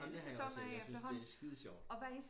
Amen det har jeg også set jeg syntes det er skide sjovt